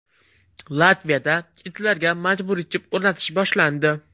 Latviyada itlarga majburiy chip o‘rnatish boshlandi.